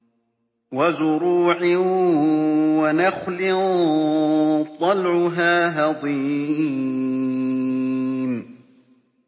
وَزُرُوعٍ وَنَخْلٍ طَلْعُهَا هَضِيمٌ